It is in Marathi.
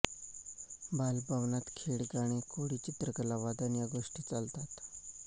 बालभवनात खेळ गाणे कोडी चित्रकला वादन या गोष्टी चालतात